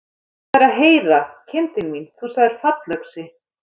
Hvað er að heyra, kindin mín, þú sagðir fallöxi.